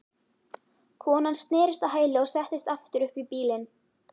Konan snerist á hæli og settist aftur upp í bílinn.